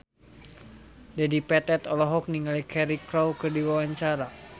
Dedi Petet olohok ningali Cheryl Crow keur diwawancara